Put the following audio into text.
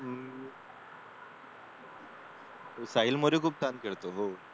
साहिल मोरे खूप छान खेळतो हो